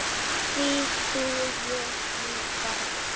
Því trúi ég nú varla.